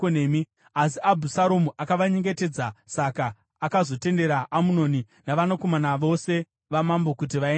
Asi Abhusaromu akavanyengetedza, saka akazotendera Amunoni navanakomana vose vamambo kuti vaende navo.